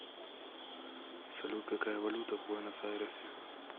салют какая валюта в буэнос айресе